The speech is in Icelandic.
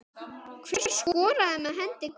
Hver skoraði með hendi guðs?